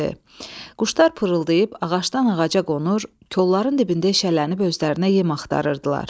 Quşlar pırıldayıb ağacdan ağaca qonur, kolların dibində eşələnib özlərinə yem axtarırdılar.